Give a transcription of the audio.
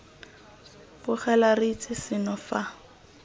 bogela re itse seno fa